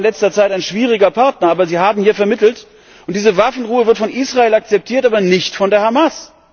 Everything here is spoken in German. Ägypten war in letzter Zeit ein schwieriger Partner, aber sie haben hier vermittelt, und diese Waffenruhe wird von Israel akzeptiert, aber nicht von der Hamas!